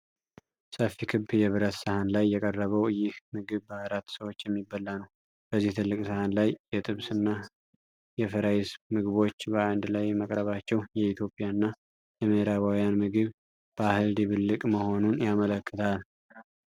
ሰፊ ክብ የብረት ሰሃን ላይ የቀረበው ይህ ምግብ በአራት ሰዎች የሚበላ ነው። በዚህ ትልቅ ሰሃን ላይ የ"ጥብስ" እና የ"ፍራይስ" ምግቦች በአንድ ላይ መቅረባቸው የኢትዮጵያን እና የምዕራባውያን የምግብ ባህል ድብልቅ መሆኑን ያመለክታል?